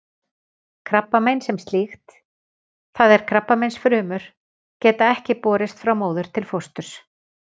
Krabbamein sem slíkt, það er krabbameinsfrumur, geta ekki borist frá móður til fósturs.